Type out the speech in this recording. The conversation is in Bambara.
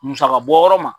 Musaka bɔ yɔrɔ ma